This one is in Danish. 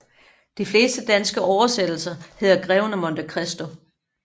De fleste danske oversættelser hedder Greven af Monte Christo